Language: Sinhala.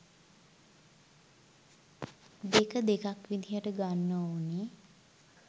දෙක දෙකක් විදිහට ගන්න ඕනෙ